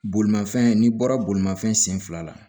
Bolimafɛn n'i bɔra bolimafɛn sen fila la